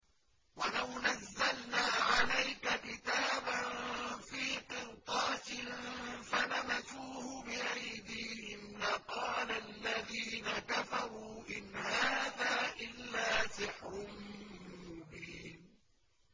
وَلَوْ نَزَّلْنَا عَلَيْكَ كِتَابًا فِي قِرْطَاسٍ فَلَمَسُوهُ بِأَيْدِيهِمْ لَقَالَ الَّذِينَ كَفَرُوا إِنْ هَٰذَا إِلَّا سِحْرٌ مُّبِينٌ